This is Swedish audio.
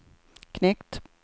knekt